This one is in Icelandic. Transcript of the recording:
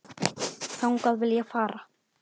Þangað vil ég fara.